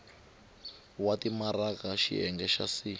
wa timaraka xiyenge xa c